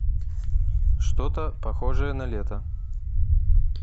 что то похожее на лето